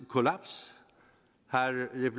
kollaps